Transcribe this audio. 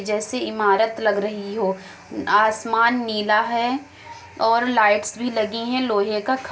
जैसे इमारत लग रही हो। आसमान नीला है और लाइटस भी लगी हैं। लोहे का खं --